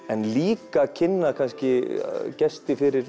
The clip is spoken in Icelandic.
en líka kynna gesti fyrir